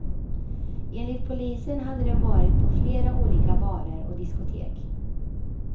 Enligt polisen hade de varit på flera olika barer och diskotek.